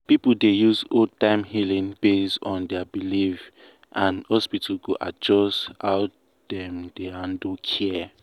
people dey use old-time healing based on their belief and hospital go adjust how dem dey handle care.